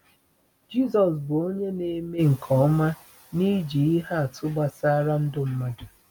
Jisọs bụ onye na-eme nke ọma n’iji ihe atụ gbasara ndụ mmadụ.